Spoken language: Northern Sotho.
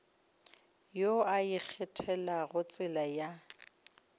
yo a ikgethelago tsela ya